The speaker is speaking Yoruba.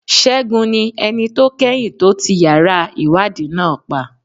Segun ni ẹni tó kẹ́yìn tó ti yàrá ìwádìí náà pa.